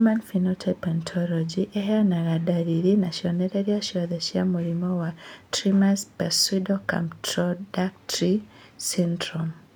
Human Phenotype Ontology ĩheanaga ndariri na cionereria ciothe cia mũrimũ wa Trismus pseudocamptodactyly syndrome